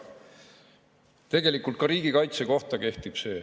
See kehtib tegelikult ka riigikaitse kohta.